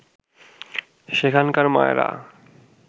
সেখানকার মায়েরা